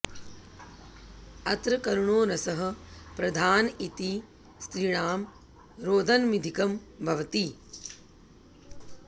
अत्र करुणो रसः प्रधान इति स्त्रीणां रोदनमधिकं भवति